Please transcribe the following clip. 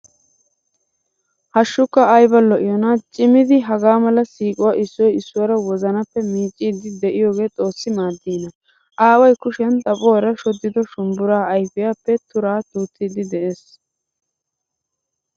Hashshukka ayba lo'iyona. Cimid hagaamala siiquwan issoy issuwaara wozanappe miiccidi deiyoge xoossi maadina. Aaway kushiyan xaphphuwaara shodido shumbburaa ayfiyappe tura duuttid de'ees.